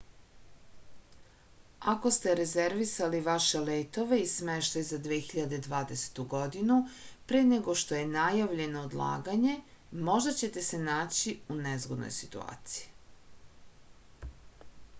ako ste rezervisali vaše letove i smeštaj za 2020. godinu pre nego što je najavljeno odlaganje možda ćete se naći u nezgodnoj situaciji